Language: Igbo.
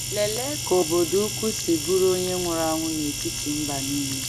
Lelee ka obodo ukwu si bụrụ onye nwụrụ anwụ n’etiti mba nile!